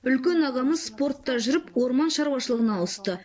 үлкен ағамыз спортта жүріп орман шаруашылығына ауысты